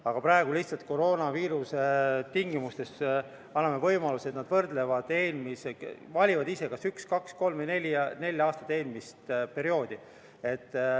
Aga praegu koroonaviiruse tingimustes anname võimaluse, et nad valivad ise, kas üks, kaks, kolm või neli aastat eelmist perioodi.